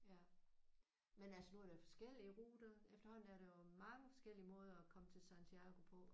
Men altså nu er der jo forskellige ruter. Efterhånden er der jo mange forskellige måder at komme til Santiago på